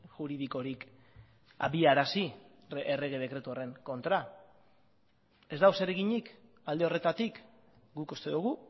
juridikorik abiarazi errege dekretu horren kontra ez dago zereginik alde horretatik guk uste dugu